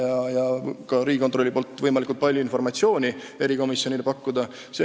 Riigikontroll peaks aga erikomisjonile võimalikult palju informatsiooni pakkuma.